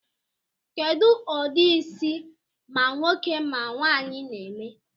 Kedu udi isi ma nwoke ma nwaanyi n'eme?